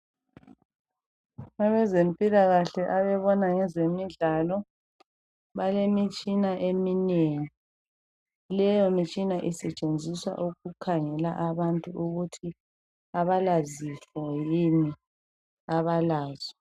Abazempilakahle ababona ngezemidlalo balemitshina eminengi, leyo mitshina isetshenziswa ukukhangela abantu ukuthi abalazifo yini abalazo.